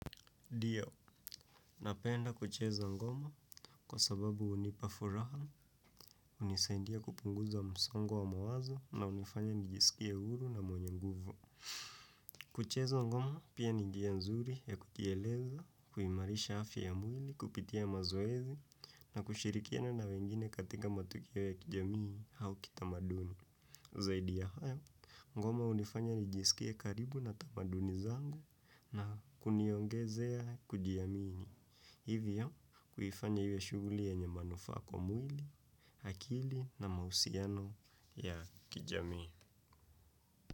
Diyo, napenda kucheza ngoma kwa sababu hunipa furaha hunisaindia kupunguza msongo wa mawazo na hunifanya nijisikie huru na mwenye nguvu. Kucheza ngoma pia ninjia nzuri ya kujieleza, kuimarisha afya ya mwili, kupitia mazoezi na kushirikia na na wengine katika matukio ya kijamii hau ki tamaduni. Zaidi ya hayo, ngoma hunifanya nijisikie karibu na tamaduni zangu na kuniongezea kujiamini. Hivyo, kuifanya iwe shuguli yenye manufaa kwa mwili, hakili na mahusiano ya kijamii.